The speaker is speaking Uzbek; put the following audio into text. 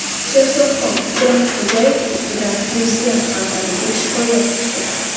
Sherzodxon Qudratxo‘jayev ustidan Prezident portaliga shikoyat tushdi.